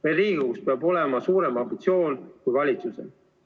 Meil Riigikogus peab olema suurem ambitsioon kui valitsusel.